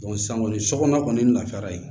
san kɔni sokɔnɔna kɔni lafiyara yen